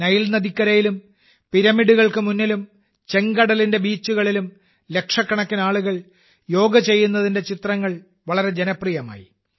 Nile നദിക്കരയിലും പിരമിഡുകൾക്ക് മുന്നിലും ചെങ്കടലിന്റെ ബീച്ചുകളിലും ലക്ഷക്കണക്കിന് ആളുകൾ യോഗ ചെയ്യുന്ന ചിത്രങ്ങൾ വളരെ ജനപ്രിയമായി